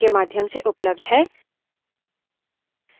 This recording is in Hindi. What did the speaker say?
यह भी ध्यान रहे कि लिनक्स case sensitive है